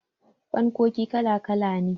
fankoki kala kala ne